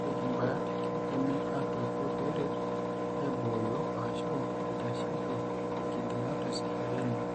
Ore imbaat keidimi aatuutu peeret aibooyo o/ashu eitasheiki inkigiligilat ooseizureni.